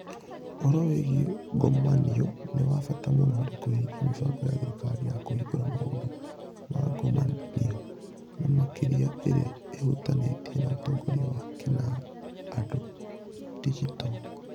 Ũhoro wĩgiĩ ngomanio nĩ wa bata mũno harĩ kũhingia mĩbango ya thirikari ya kũhingũra maũndũ ma ngomanio, na makĩria ĩrĩa ĩhutanĩtie na ũtongoria wa kĩnandũ (digital).